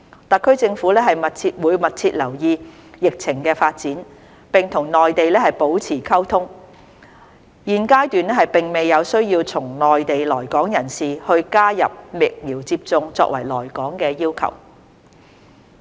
特區政府會密切留意疫情發展，並與內地保持溝通，現階段並未有需要對從內地來港人士加入疫苗接種作為來港要求。